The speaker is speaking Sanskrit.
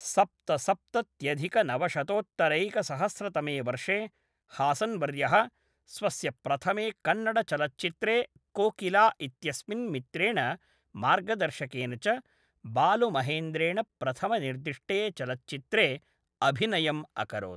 सप्तसप्तत्यधिकनवशतोत्तरैकसहस्रतमे वर्षे, हासन्वर्यः स्वस्य प्रथमे कन्नडचलच्चित्रे कोकिला इत्यस्मिन् मित्रेण मार्गदर्शकेन च बालु महेन्द्रेण प्रथमनिर्दिष्टे चलच्चित्रे अभिनयम् अकरोत्।